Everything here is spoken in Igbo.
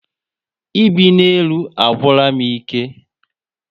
Ibi na élú agwura m ike